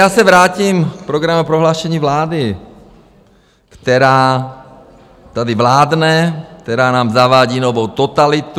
Já se vrátím k programovém prohlášení vlády, která tady vládne, která nám zavádí novou totalitu.